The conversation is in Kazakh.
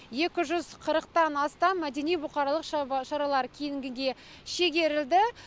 екі жүз қырықтан астам мәдени бұқаралық шаралар кейінгіге шегерілді